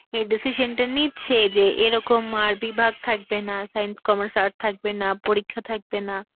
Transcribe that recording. এই decision টা নিচ্ছে যে এরকম আর বিভাগ থাকবে না, science, sommerce srts থাকবে না, পরীক্ষা থাকবে না.